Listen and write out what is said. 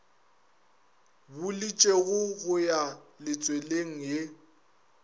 buletšwego go ya letsweleng ye